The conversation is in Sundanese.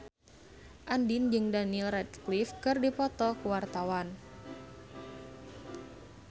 Andien jeung Daniel Radcliffe keur dipoto ku wartawan